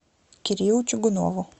кириллу чугунову